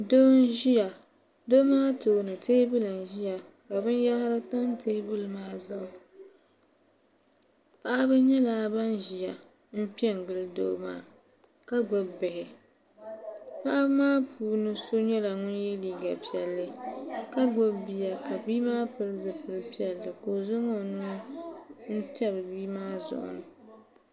Doo n ziya doo maa tooni tɛɛbuli n ziya ka bini yahari tam tɛɛbuli maa zuɣu paɣaba nyɛla bini ziya mpɛ n gili doo maa ka gbubi bihi paɣiba maa puuni so nyɛla ŋuni ye liiga piɛlli ka gbubi bia ka bia maa pili zupiligu piɛlli ka o zaŋ o nuu n tabi bia maa zuɣu.